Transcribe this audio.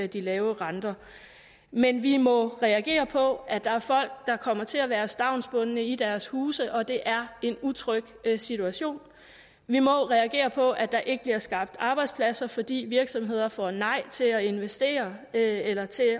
de lave renter men vi må reagere på at der er folk der kommer til at være stavnsbundne i deres huse og det er en utryg situation vi må reagere på at der ikke bliver skabt arbejdspladser fordi virksomheder får nej til at investere eller til